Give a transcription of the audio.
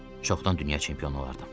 Çoxdan dünya çempionu olardım.